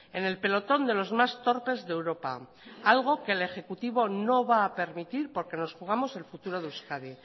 en el pelotón de los más torpes de europa algo que el ejecutivo no va a permitir porque nos jugamos el futuro de euskadi